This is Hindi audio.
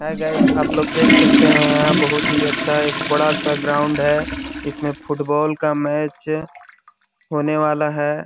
हाय गाइज आपलोग देख सकते है यहाँ बहुत ही अच्छा एक बड़ा -सा ग्राउंड है इसमें फुटबॉल का मैच होने वाला हैं।